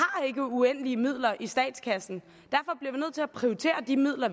uendelige midler i statskassen og til at prioritere de midler